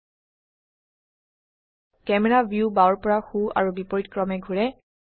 camera ভিউবাওৰ পৰা সো আৰু বিপৰীতক্ৰমে ঘোৰে